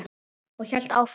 Og hélt áfram